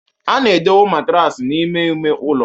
A na-edowe matraasi n'ime ime ụlọ